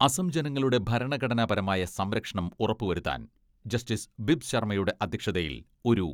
അസം ജനങ്ങളുടെ ഭരണഘടനാപരമായ സംരക്ഷണം ഉറപ്പ് വരുത്താൻ ജസ്റ്റിസ് ബിബ് ശർമ്മയുടെ അധ്യക്ഷതയിൽ ഒരു